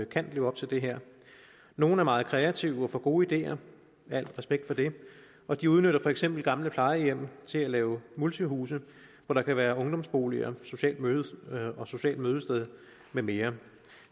kan leve op til det her nogle er meget kreative og får gode ideer al respekt for det og de udnytter for eksempel gamle plejehjem til at lave multihuse hvor der kan være ungdomsboliger sociale mødesteder sociale mødesteder med mere